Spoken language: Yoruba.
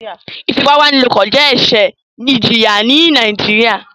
Ifipabanilopo jẹ ẹṣẹ ìjìyà ní nàìjíría